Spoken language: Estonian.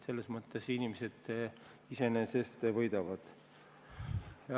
Selles mõttes inimesed iseenesest võidavad.